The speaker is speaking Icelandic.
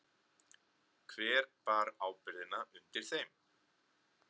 Hver bar ábyrgðina undir þeim?